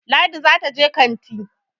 Ladi za ta je kanti